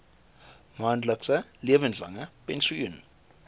maandelikse lewenslange pensioen